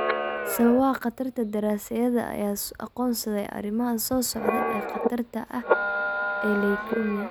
Sababaha Khatarta Daraasaadyada ayaa aqoonsaday arrimahan soo socda ee khatarta ah ee leukemia.